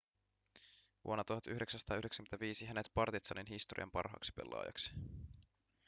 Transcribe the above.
vuonna 1995 hänet partizanin historian parhaaksi pelaajaksi